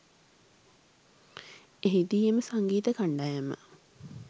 එහිදී එම සංගීත කන්ඩායම